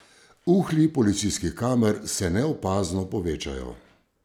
Uhlji policijskih kamer se neopazno povečajo.